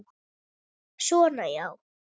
Svona, já.